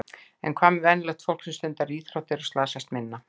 En hvað með venjulegt fólk sem stundar íþróttir og slasast minna?